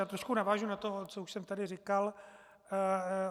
Já trošku navážu na to, co už jsem tady říkal.